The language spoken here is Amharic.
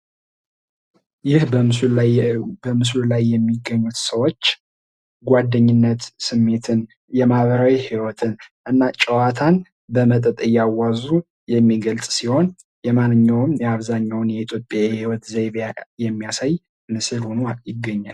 ይህ በምስሉ ላይ የምትመለከቱት ጓደኝነት ስሜትን፣ የማህበራዊ ህይዎትን እና ጨዋታን በመጠጥ እያዋዙ የሚገልጽ ሲሆን የማንኛዉንም የአብዛኛው ኢትዮጵያዊ የህይዎት ዘይቤ የሚያሳይ ነው።